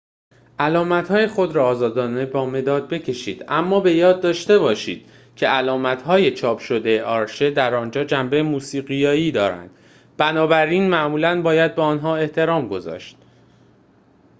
علامت‌های خود را آزادانه با مداد بکشید اما به یاد داشته باشید که علامت‌های چاپ شده آرشه در آنجا جنبه موسیقیایی دارند بنابراین معمولا باید به آنها احترام گذاشت